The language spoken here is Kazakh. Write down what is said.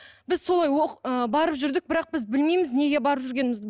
біз солай ы барып жүрдік бірақ біз білмейміз неге барып жүргенімізді